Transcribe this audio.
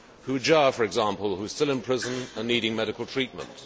Hu Jia, for example, who is still in prison and needing medical treatment.